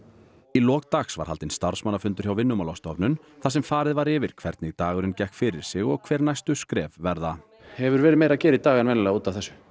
í lok dags var haldinn starfsmannafundur hjá Vinnumálastofnun þar sem farið var yfir hvernig dagurinn gekk fyrir sig og hver næstu skref verða hefur verið meira að gera í dag en venjulega út af þessu